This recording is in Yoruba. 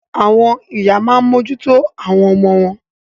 Àwọn ìyá a máa mójú tó àwọn ọmọ wọn.